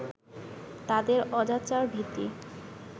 তাদের অজাচার-ভীতি